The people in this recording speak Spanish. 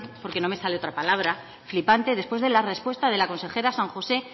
porque no me sale otra palabra flipante después de la respuesta de la consejera san josé